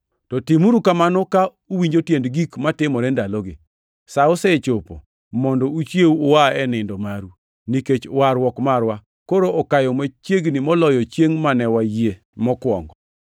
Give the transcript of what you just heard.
To timuru kamano ka uwinjo tiend gik matimore ndalogi. Sa osechopo mondo uchiew ua e nindo maru, nikech warruok marwa koro okayo machiegni moloyo chiengʼ mane wayie mokwongo.